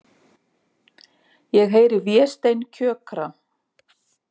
Ég heyri Véstein kjökra.